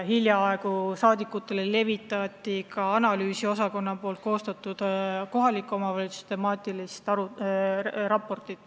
Hiljaaegu levitati rahvasaadikutele ka parlamendi analüüsiosakonna koostatud kohaliku omavalitsuse temaatilist raportit.